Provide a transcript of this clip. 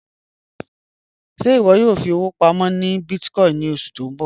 Ṣẹ́ iwọ yóò fi owo pàmọ́ ni bíìtìkòìn ni ọṣu ti n bọ?